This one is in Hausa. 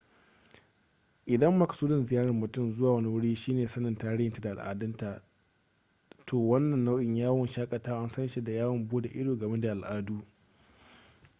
idan makasudin ziyarar mutum zuwa wani wuri shi ne sanin tarihinta da al'adunta to wannan nau'in yawon shakatawa an san shi da yawon bude ido game da al'adu